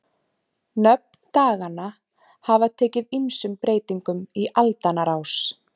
Nöfn daganna hafa tekið ýmsum breytingum í aldanna rás.